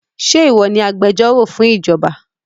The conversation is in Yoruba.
Ṣe ìwọ ni agbẹjọ́rò fún ìjọba?